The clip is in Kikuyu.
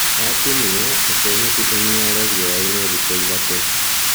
Watinia, reke nyeki ĩniare riũainĩ thikũ ithatũ